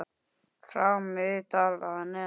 frá Miðdal að neðan.